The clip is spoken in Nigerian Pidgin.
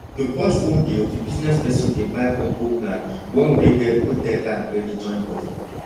to cut phone bill the business person dey buy combo plan one wey get both data and credit join body